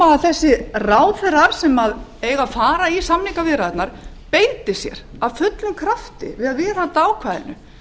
nema þessir ráðherrar sem eiga að fara í samningaviðræðurnar beiti sér af fullum krafti við að viðhalda ákvæðinu